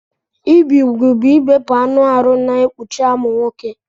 Ibi ụgwụ bụ ibepụ anụ arụ na-ekpụchi amụ nwọke.